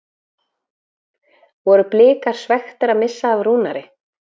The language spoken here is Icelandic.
Voru Blikar svekktir að missa af Rúnari?